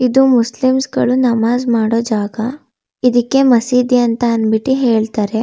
ಇದು ಮುಸ್ಲಿಮ್ಸ್ ಗಳು ನಮಾಜ್ ಮಾಡೋ ಜಾಗ ಇದಕ್ಕೆ ಮಸೀದಿ ಅಂತ ಅನ್ನಬಿಟ್ಟಿ ಹೇಳತ್ತರೆ.